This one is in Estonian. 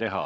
teha.